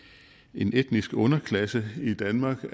en etnisk underklasse i danmark